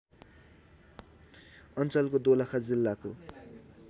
अञ्चलको दोलखा जिल्लाको